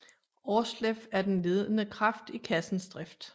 Aarsleff den ledende kraft i kassens drift